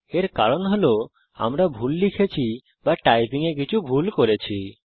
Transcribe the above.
এর কারণ হল আমরা ভুল লিখেছি বা টাইপিং এ কিছু ভুল করেছি